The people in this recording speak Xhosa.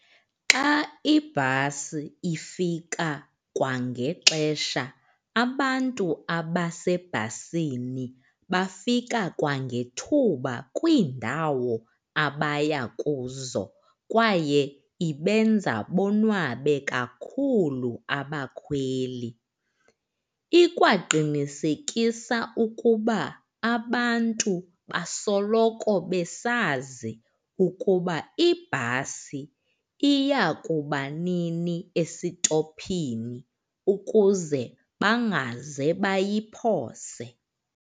Xa ibhasi ifika kwangexesha, abantu abasebhasini bafika kwangethuba kwiindawo abaya kuzo kwaye ibenza bonwabe kakhulu abakhweli. Ikwaqinisekisa ukuba abantu basoloko besazi ukuba ibhasi iya kuba nini esitophini ukuze bangaze bayiphose.